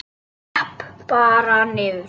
Skrepp bara niður.